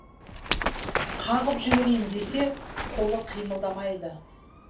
қағып жіберейін десе қолы қимылдамайды